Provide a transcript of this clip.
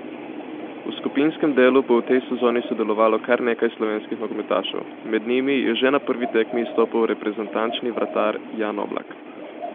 V skupinskem delu bo v tej sezoni sodelovalo kar nekaj slovenski nogometašev, med njimi je že na prvi tekmi izstopal reprezentančni vratar Jan Oblak.